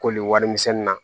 Koli warimisɛnni na